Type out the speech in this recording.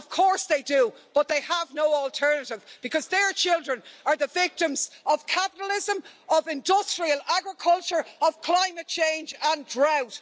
Of course they do, but they have no alternative, because their children are the victims of capitalism, of industrial agriculture, of climate change and drought.